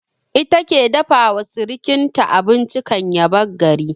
Ita ke dafa wa sirkinta abinci kan ya bar gari